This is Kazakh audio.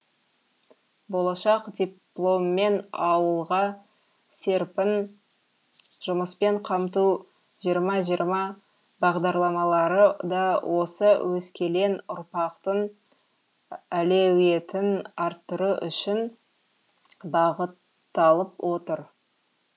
болашақ дипломмен ауылға серпін жұмыспен қамту жиырма жиырма бағдарламары да осы өскелең ұрпақтың әлеуетін арттыру үшін бағытталып отыр